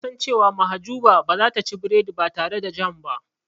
Na san cewa Mahjuba ba zata ci biredi ba tare da jam ba.